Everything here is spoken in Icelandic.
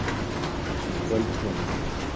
Í kvöld, vonandi.